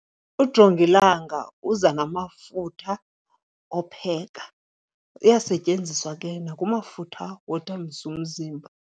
Ujongilanga uza namafutha opheka. Uyasetyenziswa ke nakumafama wothambisa umzimba.